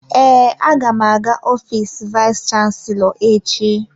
Ee, aga m aga ofiisi vayis chansilọ echi.